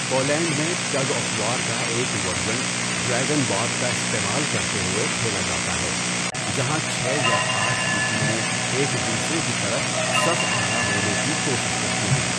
Poland میں، tug of war کا ایک ورژن ڈریگن بوٹ کا استعمال کرتے ہوئے کھیلا جاتا ہے، جہاں چھ یا آٹھ کی ٹیمیں ایک دوسرے کی طرف صف آرا ہونے کی کوشش کرتی ہیں۔